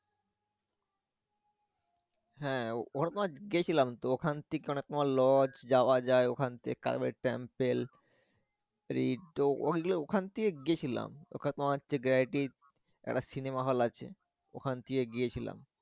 হ্যা অরমাস গেছিলাম তো ওখান থেকে অনেক মল লস যাওয়া যায় ওখানে temple ওখান থেকে গেছিলাম ওখানে তোমার হচ্ছে Gratis একটা সিনেমা হল আছে ওখান দিয়ে গিয়েছিলাম।